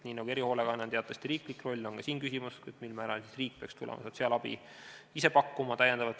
Nii nagu erihoolekanne on teatavasti riiklik roll, on ka siin küsimus, mil määral peaks riik ise tulema sotsiaalabi juurde pakkuma.